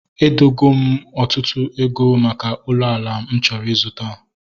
Edogo m ọtụtụ ego maka ụlọ ala m chọrọ ịzụta